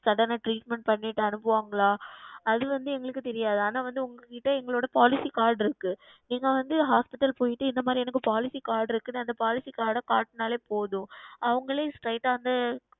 சடன Treatment செய்து அனுப்புவார்களா அது வந்து எங்களுக்கு தெரியாது ஆனால் உங்களிடம் வந்து எங்களுடைய Policy Card இருக்கிறது நீங்கள் வந்து Hospital சென்றுவிட்டு எங்களிடம் இந்த மாதிரி Policy Card இருக்கு என்று அந்த Policy Card காண்பித்தாலே போதும் அவர்களே Straight ஆ வந்து